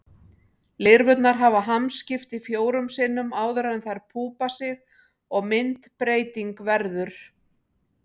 Lirfurnar hafa hamskipti fjórum sinnum áður en þær púpa sig og myndbreyting verður.